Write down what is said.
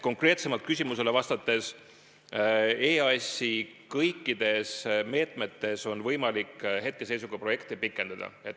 Konkreetsemalt küsimusele vastates kinnitan, et EAS-i kõikide meetmete puhul on võimalik hetkeseisuga projekte pikendada.